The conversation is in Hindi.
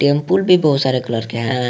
भी बहुत सारे कलर के हैं।